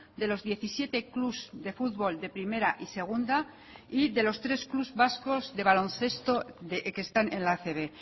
de los diecisiete clubs de fútbol de primera y segunda y de los tres clubs vascos de baloncesto que están en la acb